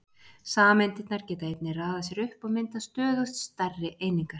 Sameindirnar geta einnig raðað sér upp og mynda stöðugt stærri einingar.